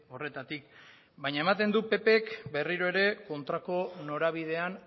horretatik baina ematen du ppk berriro ere kontrako norabidean